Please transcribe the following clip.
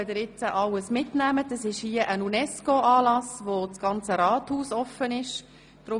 Hier drin wird noch ein Anlass der UNESCO stattfinden, und das ganze Rathaus wird offenstehen.